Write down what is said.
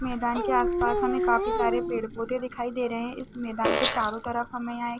मैदान के आस-पास हमे काफी सारे पेड़-पौधे दिखाई दे रहे हैं इस मैदान के चारो तरफ हमे यहाँ एक--